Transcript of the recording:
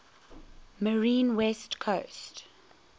marine west coast